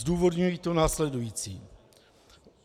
Zdůvodňuji to následujícím.